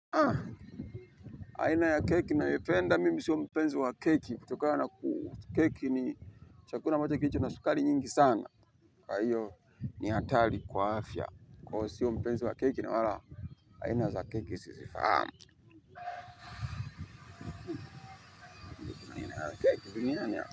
Aina ya keki nayopenda mimi siyo mpenzo wa keki kutokana na ku keki ni chakula ambacho kilicho na sukari nyingi sana kwa hiyo ni hatari kwa afya kwao sio mpenzi wa keki na wala haina za keki sisi fahamu aina ya keki biriganya.